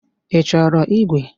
Ị chọrọ ígwè?